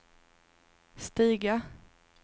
stiga